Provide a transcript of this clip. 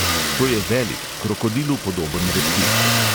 To je velik, krokodilu podoben reptil.